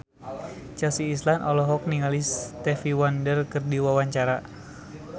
Chelsea Islan olohok ningali Stevie Wonder keur diwawancara